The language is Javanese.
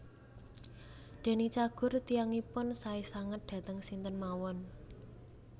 Deny Cagur tiyangipun sae sanget dhateng sinten mawon